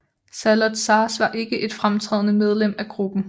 Saloth Sars var ikke et fremtrædende medlem af gruppen